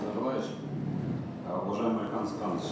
э уважаемый алихан асханович